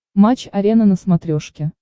матч арена на смотрешке